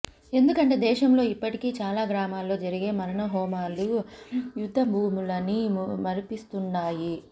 ఎందుకంటే దేశంలో ఇప్పటికీ చాలా గ్రామాల్లో జరిగే మారణ హోమాలు యుద్ద భూములని మరిపిస్తూంటాయి